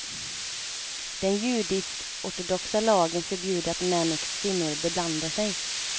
Den judiskortodoxa lagen förbjuder att män och kvinnor beblandar sig.